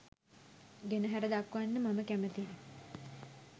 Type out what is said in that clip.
ගෙනැහැර දක්වන්න මම කැමතියි